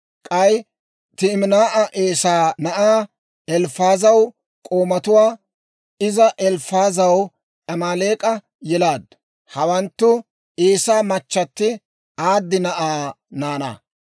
K'ay Timinaa'a Eesaa na'aa Elifaazaw k'oomatuwaa; iza Elifaazaw Amaaleek'a yelaaddu. Hawanttu Eesaa machchatti Aadi na'aa naanaa.